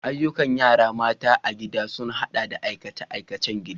Ayyukan yara mata a gida sun haɗa da aikace-aikacen gida.